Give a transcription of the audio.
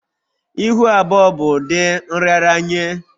Ihu abụọ bụ ụdị nraranye